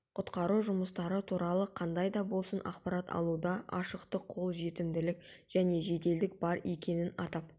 құтқару жұмыстары туралы қандайда болсын ақпарат алуда ашықтық қол жетімділік және жеделдік бар екенін атап